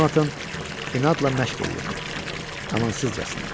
Conatan inadla məşq eləyirdi, amansızcasına.